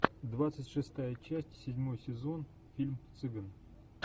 двадцать шестая часть седьмой сезон фильм цыган